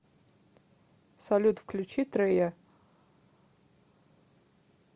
салют включи трея